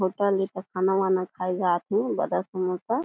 hotel ए ता खाना-वाना खाए ल जाथे बड़ा समोसा --